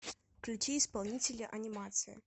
включи исполнителя анимация